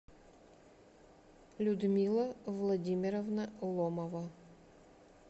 людмила владимировна ломова